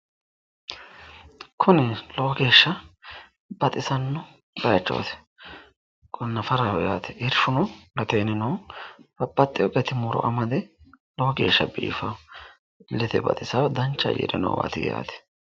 Kuni lowo geeshsha baxisanno bayichooti kuni nafaraho yaate irshuno gateenni no babbaxxeyo gati muro amade lowo geeshsha biifawo illete baxisawo dancha ayyire noowaati yaate.